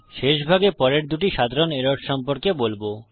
শেষ ভাগে পরের দুটি সাধারণ এরর্স সম্পর্কে বলবো